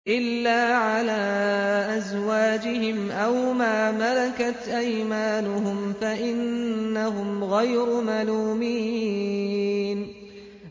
إِلَّا عَلَىٰ أَزْوَاجِهِمْ أَوْ مَا مَلَكَتْ أَيْمَانُهُمْ فَإِنَّهُمْ غَيْرُ مَلُومِينَ